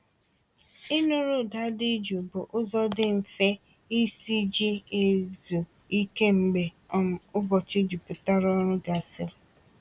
Ịnụrụ ụda dị jụụ bụ ụzọ dị mfe isi ji ezu ike mgbe um ụbọchị juputara ọrụ gasịrị.